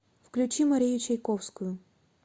включи марию чайковскую